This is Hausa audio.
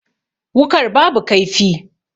Wukar babu kaifi.